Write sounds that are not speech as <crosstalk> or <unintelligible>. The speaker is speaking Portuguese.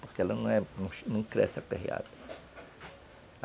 Porque ela <unintelligible> não cresce aperreada.